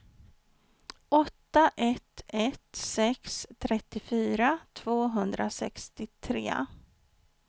åtta ett ett sex trettiofyra tvåhundrasextiotre